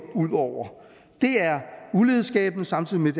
ud over det er ulighedsskabende samtidig med at